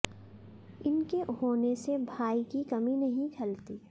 इनके होने से भाई की कमी नहीं खलती